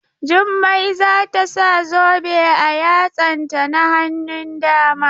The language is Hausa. Jummai za ta sa zobe a yatsanta na hannun dama.